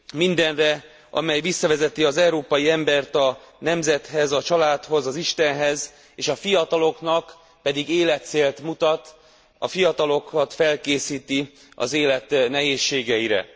Mindenre, amely visszavezeti az európai embert a nemzethez, a családhoz, az Istenhez, a fiataloknak pedig életcélt mutat, a fiatalokat felkészíti az élet nehézségeire.